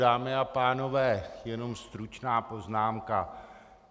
Dámy a pánové, jenom stručná poznámka.